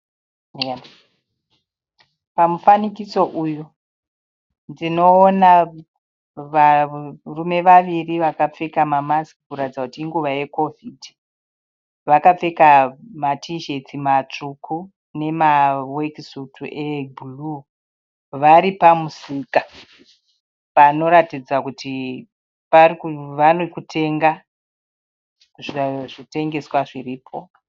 Pamufanikitso uyu ndinoona varume vaviri vakapfeka mamasiki kuratidza kuti inguva yekovhidhi vakapfeka matisheti matsvuku nemawekisutu ebhuruu vari pamusika panoratidza kuti vari kutenga zvitengeswa zviripo.